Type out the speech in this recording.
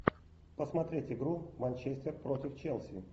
посмотреть игру манчестер против челси